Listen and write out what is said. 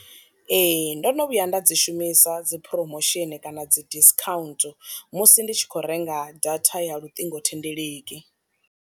Ee ndono vhuya nda dzi shumisa dzi promotion kana dzi discount musi ndi tshi kho renga data ya luṱingothendeleki.